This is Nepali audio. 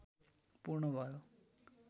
पूर्ण भयो